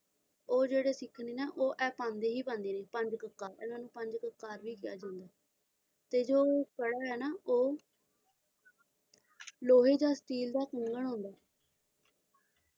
ਉਹ ਜਿਹੜੇ ਸਿੱਖ ਨੇ ਨਾ ਉਹ ਇਹ ਪਾਉਂਦੇ ਹੀ ਪਾਉਂਦੇ ਨੇ ਪੰਜ ਕੱਕਾ ਇਹਨਾਂ ਨੂੰ ਪੰਜ ਕਕਾਰ ਵੀ ਕਿਹਾ ਜਾਂਦਾ ਹੈ ਤੇ ਜੋ ਕੜਾ ਐ ਨਾ ਉਹ ਲੋਹੇ ਦਾ ਸਟੀਲ ਦਾ ਕੰਗਣ ਹੁੰਦਾ